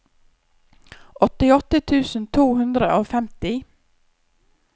åttiåtte tusen to hundre og femti